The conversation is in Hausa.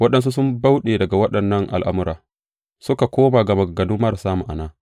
Waɗansu sun bauɗe daga waɗannan al’amura, suka koma ga maganganu marasa ma’ana.